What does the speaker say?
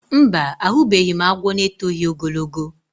Mba, ahụbeghị m agwọ n'etoghi ogologo